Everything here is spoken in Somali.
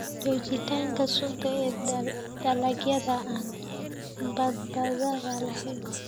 Joogitaanka sunta ee dalagyada aan badbaadada lahayn.